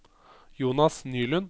Jonas Nylund